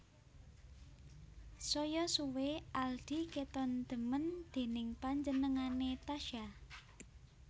Saya suwe Aldi keton demen déning panjenengane Tasya